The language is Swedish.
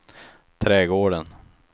trädgården